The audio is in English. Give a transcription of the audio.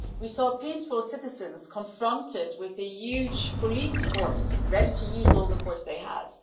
We saw peaceful citizens confronted with a huge police force ready to use all the force they had.